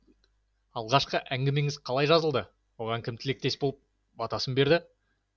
алғашқы әңгімеңіз қалай жазылды оған кім тілектес болып батасын берді